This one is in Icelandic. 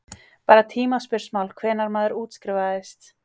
Bara tímaspursmál hvenær maður útskrifaðist.